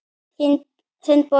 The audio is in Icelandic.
Þinn, Bogi.